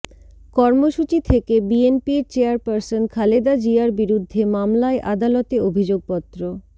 কর্মসূচি থেকে বিএনপির চেয়ারপারসন খালেদা জিয়ার বিরুদ্ধে মামলায় আদালতে অভিযোগপত্র